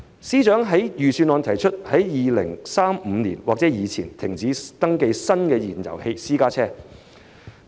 司長在預算案提出在2035年或之前停止登記新的燃油私家車。